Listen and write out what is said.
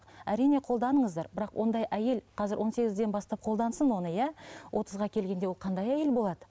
әрине қолданыңыздар бірақ ондай әйел қазір он сегізден бастап қолдансын оны иә отызға келгенде ол қандай әйел болады